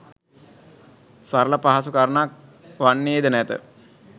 සරල පහසු කරුණක් වන්නේද නැත